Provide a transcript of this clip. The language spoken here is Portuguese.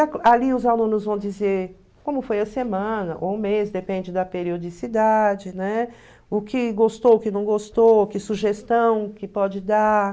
Ali os alunos vão dizer como foi a semana ou o mês, depende da periodicidade, né, o que gostou, o que não gostou, que sugestão que pode dar.